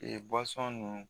Ee ninnu